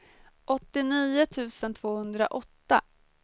åttionio tusen tvåhundraåtta